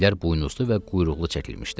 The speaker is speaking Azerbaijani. Divlər buynuzlu və quyruqlu çəkilmişdi.